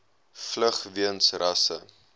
vlug weens rasse